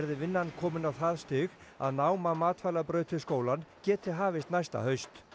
vinnan komin á það stig að nám á matvælabraut við skólann geti hafist næsta haust